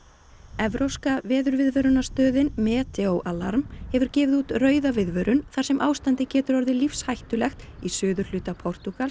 evrópska veðurviðvörunarstöðin Meteoalarm hefur gefið út rauða viðvörun þar sem ástandið getur orðið lífshættulegt í suðurhluta Portúgals